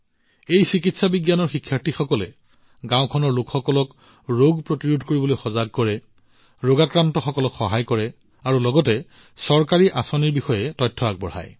এই চিকিৎসা বিদ্যাৰ্থীসকলে গাওঁখনৰ লোকসকলক ৰোগটো নোহোৱা কৰিবলৈ ৰোগটোত সহায় কৰিবলৈ আৰু লগতে চৰকাৰী আঁচনিৰ বিষয়ে তথ্য প্ৰদান কৰিবলৈ সজাগ কৰিছে